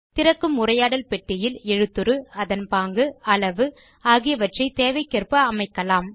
திறக்கும் உரையாடல் பெட்டியில் எழுத்துரு அதன் பாங்கு அளவு ஆகியவற்றை தேவைக்கேற்ப அமைக்கலாம்